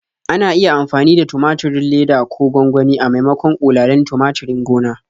Ana iya amfani da tumaturin leda ko gwangwani a maimakon ƙulalin tumaturin gona.